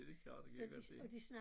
Det da klart det kan jeg godt se